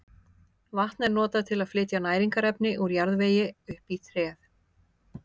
Vatn er notað til að flytja næringarefni úr jarðvegi upp í tréð.